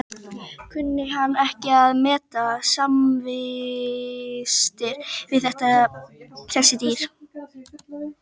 Kunni hann ekki að meta samvistir við þessi dýr.